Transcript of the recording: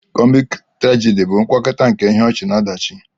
Komiki-turagidi bụ ngwakọta nke ihe ọchị na ọdachi.